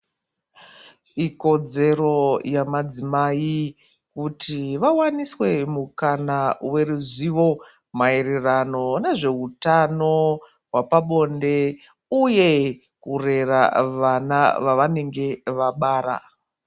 Ikodzero yamadzimai kuti vawaniswe mukana weruzivo mairirano nezveutano wapabonde uye kurera vana vavanenge vabara.